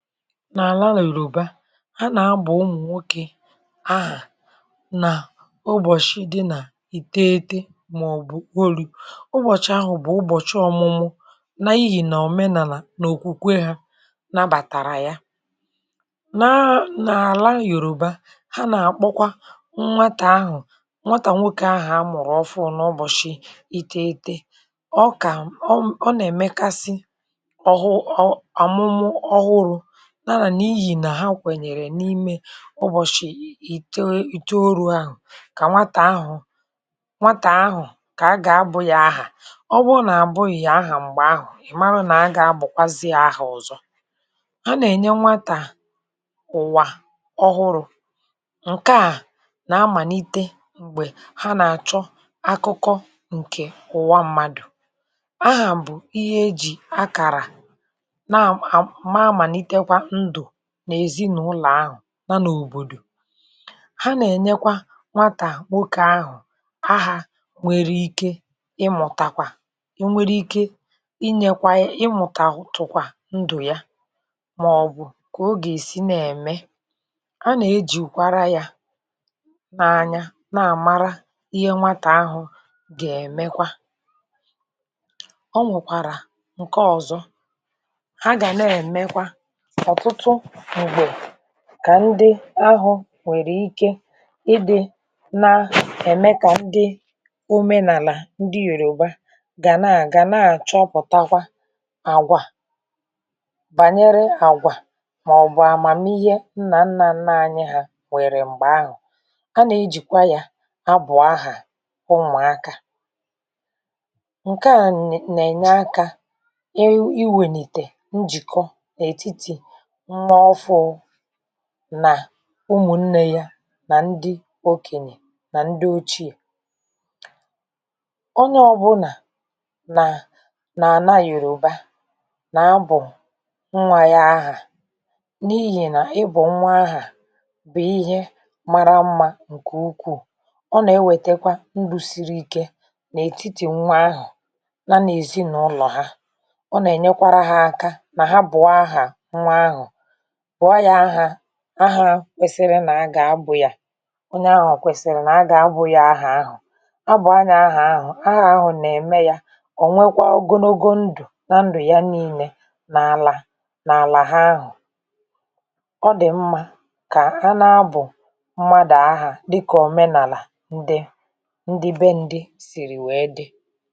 N’àla na Yoruba, a nà abụ ụmụ nwokè ahà nà ụbọshị di nà ìteghètè mà ọ bụ. Ụbọshị ahụ bụ ụbọshị ọmụmụ nà ihi nà òmenàlà nà òkwùkwe ha nabàtàrà ya, nà nà àla Yòruba ha nà àkpokwa nwatà ahụ, nwatà nwokè ahụ a mụrụ ọfụụ nà ụbọshị ìteghètè, ọkà m, ọ, ọ, nà-èmẹkasi ọhụ, ọ, amụmụ ọhụrụ um n’inyi na ha nwere n’ime ụbọshị ite iteolu ahụ kà nwatà ahụ nwatà ahụ kà a gà abụ ya ahà. Ọ bụ nà àbụghị ya ahà mgbè ahụ, ị mara nà a gà abụkwazịa ahà ọzọ. A nà-ènye nwatà ụwà ọhụrụ ǹke à nà-àmàlite mgbè ha nà-àchọ akụkọ ǹkè ụwa mmadụ. Ahà bụ ihe e jì akàrà na mà malitekwa ndụ nà ezinụlọ ahụ na n’òbòdò, ha nà ènyekwa nwatà nwokè ahụ ahà nwèrè ike ịmụtakwa, ị nwèrè ike inyèkwa, ịmụtatụkwa ndụ ya mà ọ bụ kà o gà èsi na-ème, a nà-ejìwara ya na anya na-àmara ihe nwatà ahụ gà-èmekwa. Ọ nwekwàrà ǹke ọzọ ha ga n’emekwa, ọtụtụ mgbe kà ndị ahụ nwèrè ike ịdị na-ème kà ndị òmenàlà ndị Yoruba gà naà gà naà chọpụtakwa àgwà bànyere àgwà mà ọ bụ àmàmihe nnà nnà nna anyị ha nwèrè mgbè ahụ, a nà-ejìkwa ya abụ ahà umụaka, ǹke a na, nà-ènye aka ị ịwènìtè njìkọ n’etiti nwa ọfụụ nà ụmụnnè ya nà ndị okènyè nà ndị ochiè. Onye ọbụna nà na-ana Yoruba nà abụ nwa ya ahà n’ihi nà ịbu nwa ahà bụ ihe mara mma ǹkè ukwuu, ọ nà-èwètekwa ndụ sìrì ike nà ètiti nwa ahụ ya n’ezinàụlọ ha, ọ nà ènyekwara ha aka nà ha bụọ ahà nwa ahụ bụọ ya ahà ahà kwèsìrì nà a gà-abụ ya, onye ahụ kwèsìrì nà a gà-abụ ya ahà ahụ, a bụọ ya ahà ahụ, ahà ahụ nà-ème ya ọ nwèkwa ogonogo ndụ na ndụ ya niile n’àlà n’àlà ha ahụ. Ọ dị mma kà a na-abụ mmadụ ahà dịkà òmenàlà ndị ndị bèè ndị sìrì wee dị.